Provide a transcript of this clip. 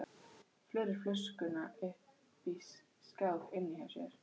Felur flöskuna uppi í skáp inni hjá sér.